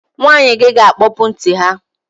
Nwanyị gi ga-akpọpụ ntị ha